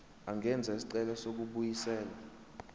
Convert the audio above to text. angenza isicelo sokubuyiselwa